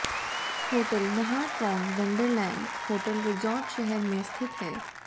hotel Nha Trang Wonderland hotel resort शहर में स्थित है